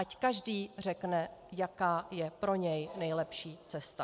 Ať každý řekne, jaká je pro něj nejlepší cesta.